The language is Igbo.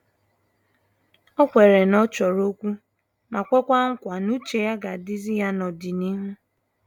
O kweere na ọ chọrọ okwu ma kwekwa nkwa n'uche ya ga-adizi ya na n'ọdịnihu.